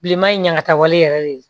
Bilenman in ɲaŋa wale yɛrɛ de